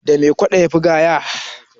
da me kwado ya Fi gaya